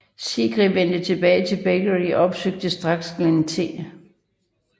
Segrè vendte tilbage til Berkeley og opsøgte straks Glenn T